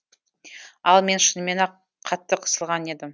ал мен шынымен ақ қатты қысылған едім